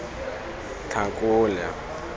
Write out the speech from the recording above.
tlhakole